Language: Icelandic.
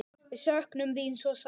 Við söknum þín svo sárt.